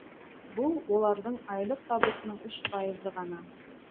бұл олардың айлық табысының үш пайызы ғана